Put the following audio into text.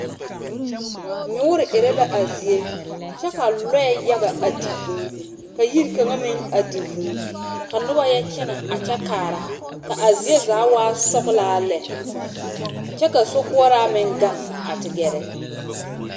Nyoore yaga erɛ la a zie, kyɛ ka lɔɛ yaga a di vūū. Ka yiri kaŋa meŋ a di vūū, ka noba yɔkyɛnɛ a kyɛ kaara. Ka a zie zaa waa sɔglaa lɛ, kyɛ ka sokoɔraa meŋ gaŋ te gɛɛrɛ.